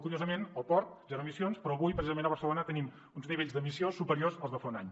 curiosament al port zero emissions però avui precisament a barcelona tenim uns nivells d’emissió superiors als de fa un any